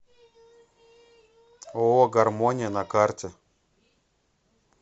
ооо гармония на карте